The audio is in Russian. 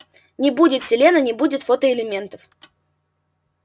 не будет селена не будет фотоэлементов